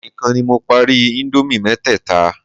Èmi nìkan ni mo parí íńdómì mẹ́tẹ̀ẹ̀ta.